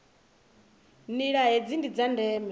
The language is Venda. nila hedzi ndi dza ndeme